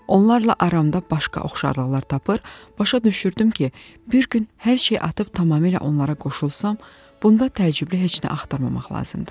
Onlarla aramda başqa oxşarlıqlar tapır, başa düşürdüm ki, bir gün hər şeyi atıb tamamilə onlara qoşulsam, bunda təəccüblü heç nə axtarmamaq lazımdır.